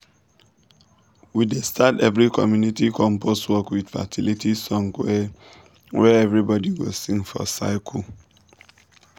we dey start every community compost work with fertility song wey wey everybody go sing for circle.